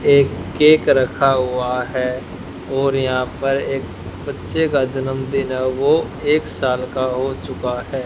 एक केक रखा हुआ है और यहां पर एक बच्चे का जन्मदिन है वो एक साल का हो चुका है।